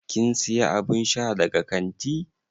Kin siya abun sha daga kanti?